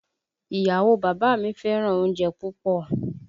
Ìyàwó o bàbá mi fẹ́ràn oúnjẹ púpọ̀